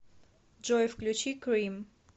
джой включи крим